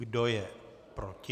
Kdo je proti?